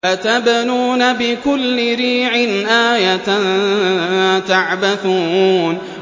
أَتَبْنُونَ بِكُلِّ رِيعٍ آيَةً تَعْبَثُونَ